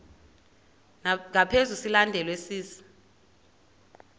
ngaphezu silandelwa sisi